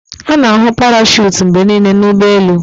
A na-ahụ parachute mgbe niile na ụgbọ elu